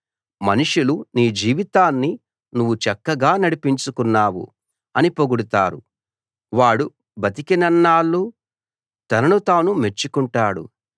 మనుషులు నీ జీవితాన్ని నువ్వు చక్కగా నడిపించుకున్నావు అని పొగుడుతారు వాడు బతికినన్నాళ్ళూ తనను తాను మెచ్చుకుంటాడు